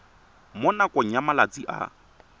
mo nakong ya malatsi a